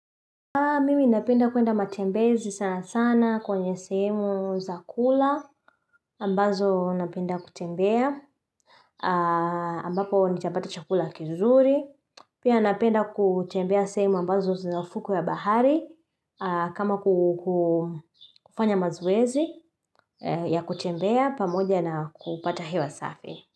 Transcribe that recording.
Mimi napenda kuenda matembezi sana sana kwenye sehemu za kula ambazo napenda kutembea ambapo nitapata chakula kizuri. Pia napenda kutembea sehemu ambazo zina ufukwe ya bahari kama kufanya mazoezi ya kutembea pamoja na kupata hewa safi.